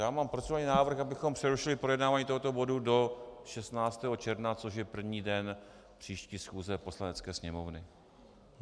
Já mám procedurální návrh, abychom přerušili projednávání tohoto bodu do 16. června, což je první den příští schůze Poslanecké sněmovny.